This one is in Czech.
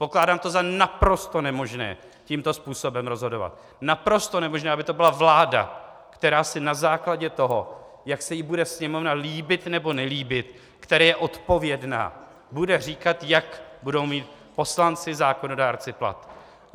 Pokládám to za naprosto nemožné tímto způsobem rozhodovat, naprosto nemožné, aby to byla vláda, která si na základě toho, jak se jí bude Sněmovna líbit, nebo nelíbit, které je odpovědná, bude říkat, jaké budou mít poslanci, zákonodárci, platy.